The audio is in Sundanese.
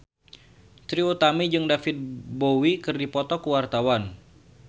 Trie Utami jeung David Bowie keur dipoto ku wartawan